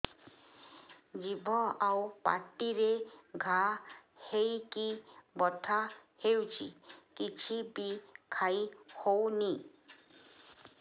ଜିଭ ଆଉ ପାଟିରେ ଘା ହେଇକି ବଥା ହେଉଛି କିଛି ବି ଖାଇହଉନି